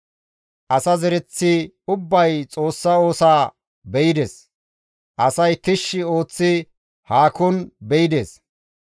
Asa zereththi ubbay Xoossa oosaa be7ides; asay tishshi ooththi haakon be7ides.